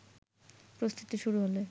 প্রস্তুতি শুরু হলে